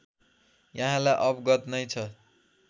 यहाँलाई अवगत नै छ